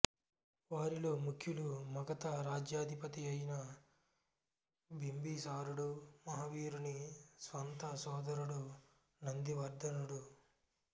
వారిలో ముఖ్యులు మగథ రాజ్యాధిపతి అయిన బింబిసారుడు మహావీరుని స్వంత సోదరుడు నందివర్థనుడు